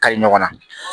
Kayi ɲɔgɔn na